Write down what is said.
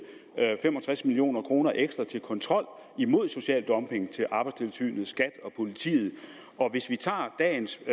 fem og tres million kroner ekstra til kontrol imod social dumping til arbejdstilsynet skat og politiet og hvis vi tager dagens